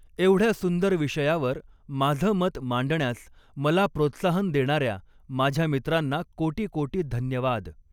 एवढ्या सुंदर विषयावर माझ मत मांडण्यास मला प्रोत्साहन देणाऱ्या माझ्या मित्रांना कोटीकोटी धन्यवाद